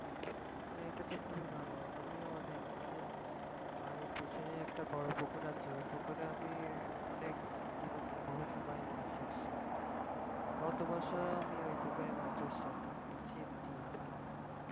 হ্যাঁ এটা তো খুবই ভাল আমিও অনেক আমাদের বাড়ির পিছনে একটা বড় পুকুর আছে ওই পুকুরে আমি অনেক মানে জীবনের বহু সময় মাছ ধরছি গতবছর আমি ওই পুকুরে মাছ ধরছি অনেক ছিপ দিয়ে আর কি